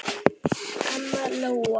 Anna Lóa.